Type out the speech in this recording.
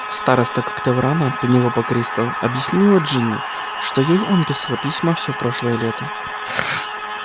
староста когтеврана пенелопа кристал объяснила джинни это ей он писал письма всё прошлое лето